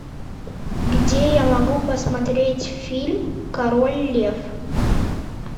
где я могу посмотреть фильм король лев